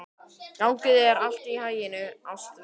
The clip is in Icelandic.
Gangi þér allt í haginn, Ástveig.